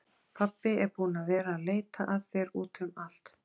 Pabbi er búinn að vera að leita að þér út um allt!